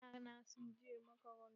Ya'ya na sun je makaranta.